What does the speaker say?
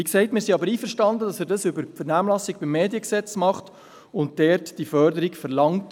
Wie gesagt sind wir aber einverstanden, dass er dies über die Vernehmlassung zum Mediengesetz tut und die Förderung dort verlangt.